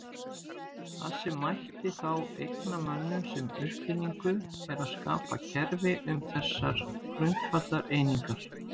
Það sem mætti þá eigna mönnum sem uppfinningu er að skapa kerfi um þessar grundvallareiningar.